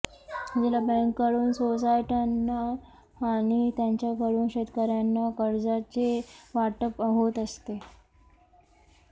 जिल्हा बँकेंकडून सोसायट्यांना आणि त्यांच्याकडून शेतकर्यांना कर्जाचे वाटप होत असते